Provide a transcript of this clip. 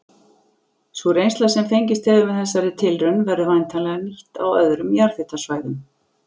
Sú reynsla sem fengist hefur með þessari tilraun verður væntanlega nýtt á öðrum jarðhitasvæðum.